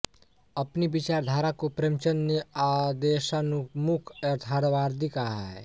अपनी विचारधारा को प्रेमचंद ने आदर्शोन्मुख यथार्थवादी कहा है